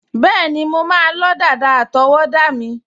Bẹ́ẹ̀ni, mo máa lọ́ dàda àtọwọ́dá mi